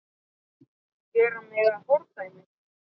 Gera mig að fordæmi?